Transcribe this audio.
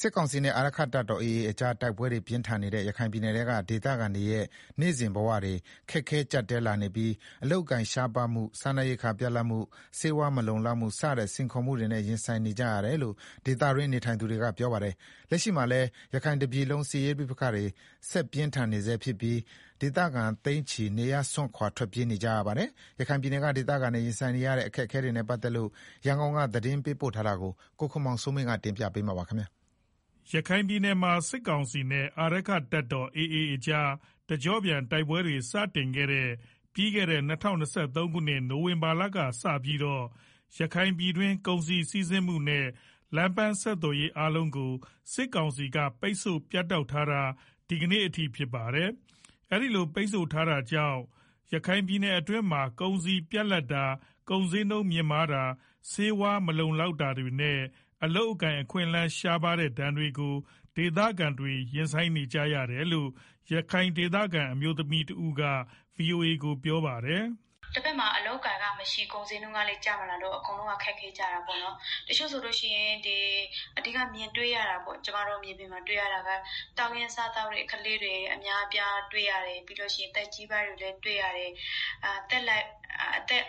စစ်ကောင်စီနဲ့ အာရက္ခတပ်တော် AA ကြား တိုက်ပွဲတွေပြင်းထန်နေတဲ့ ရခိုင်ပြည်နယ်ထဲက ဒေသခံတွေရဲ့ နေ့စဉ်ဘဝတွေ ခက်ခဲကြပ်တည်းလာနေပြီး အလုပ်အကိုင်ရှားပါးမှု စားနပ်ရိက္ခာပြတ်လပ်မှု ဆေးဝါးမလုံလောက်မှု စတဲ့ စိန်ခေါ်မှုတွေနဲ့ရင်ဆိုင်နေကြရတယ်လို့ ဒေသတွင်းနေထိုင်သူတွေကပြောပါတယ်။ လက်ရှိမှာလည်း ရခိုင်တပြည်လုံးစစ်ရေးပဋိပက္ခတွေ ဆက်ပြင်းထန်နေဆဲဖြစ်ပြီး ဒေသခံသိန်းချီ နေရပ်စွန့်ခွာထွက်ပြေးနေကြရပါတယ်။ ရန်ကုန်က သတင်းပေးပို့ထားပါတယ်။ ရခိုင်ပြည်နယ်မှာ စစ်ကောင်စီနဲ့ အာရက္ခတပ်တော်AA ကြား တကြော့ပြန်တိုက်ပွဲတွေ စတင်ခဲ့တဲ့ ၂၀၂၃ခုနှစ် နိုဝင်ဘာလကစပြီးတော့ ရခိုင်ပြည်တွင်း ကုန်စည်စီးဆင်းမှုတွေနဲ့ လမ်းပမ်းဆက်သွယ်ရေး အားလုံးကို စစ်ကောင်စီက ပိတ်ဆို့ပြတ်တောက်ထားတာ ဒီကနေ့အထိ ဖြစ်ပါတယ်။ အခုလို ပိတ်ဆို့ထားတာကြောင့် ရခိုင်ပြည်နယ်အတွင်းမှာ ကုန်စည်ပြတ်လပ်တာ ကုန်ဈေးနှုန်းမြင့်မားတာ၊ ဆေးဝါးမလုံလောက်တာတွေနဲ့အလုပ်အကိုင်အခွင့်အလမ်းတွေ ရှားပါးမှုဒဏ်တွေကို ဒေသခံတွေ ရင်ဆိုင်နေကြရတယ်လို့ ရခိုင်ဒေသခံအမျိုးသမီးတဦးက ဗွီအိုအေကို ပြောပါတယ်။ “ တဘက်မှာ အလုပ်အကိုင်ကမရှိ ကုန်ဈေးနှုန်းကလည်း ကျမလာဘူးဆိုတော့ အကုန်လုံးက ခက်ခဲကြတာပေါ့နော် တချို့ဆိုလို့ရှိရင် ကျမတို့မြေပြင်မှာ တွေ့ရတာကတောင်းရမ်းစားသောက်တဲ့ ကလေးတွေ အများအပြားတွေ့ရတယ်၊ ပြီးတော့ သက်ကြီးပိုင်းတွေလည်းတွေ့ရတယ် သက်လတ်ပိုင်းတွေ